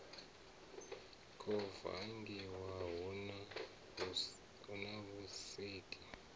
kwo vangiwa hu na vhusiki